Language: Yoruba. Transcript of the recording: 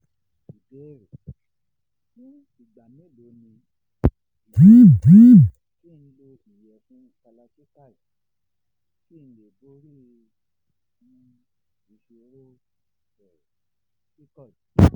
not clear